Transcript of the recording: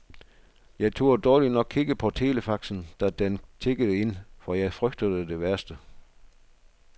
Jeg turde dårligt nok kigge på telefaxen, da den tikkede ind, for jeg frygtede det værste.